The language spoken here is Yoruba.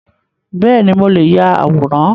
Beeni, mo leè ya àwòrán